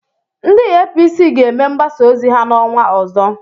Ndị APC ga-eme mgbasa ozi ha n'ọnwa ọzọ.